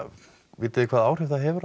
vitið þið hvaða áhrif það hefur á